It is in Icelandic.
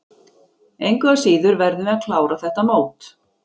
Engu að síður verðum við að klára þetta mót.